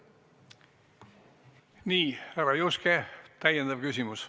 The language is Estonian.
Nii, härra Juske, täiendav küsimus.